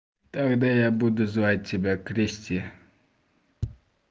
тогда я буду звать тебя кристи